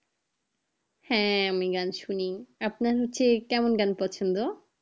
হ্যাঁ আমি গান শুনি, আপনার হচ্ছে কেমন গান পছন্দ?